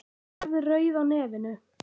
Hún verður rauð á nefinu.